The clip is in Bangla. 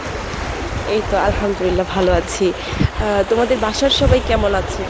এই তো আলহামদুলিল্লাহ ভালো আছি, আ তোমাদের বাসার সবাই কেমন আছে?